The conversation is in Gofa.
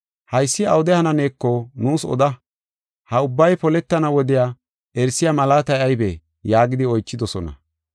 “Haysi awude hananeeko nuus oda; ha ubbay poletana wodiya erisiya malaatay aybee?” yaagidi oychidosona.